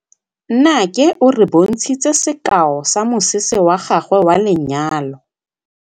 Nnake o re bontshitse sekaô sa mosese wa gagwe wa lenyalo.